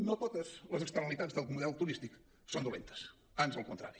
no totes les externalitats del model turístic són dolentes ans al contrari